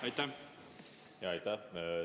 Aitäh!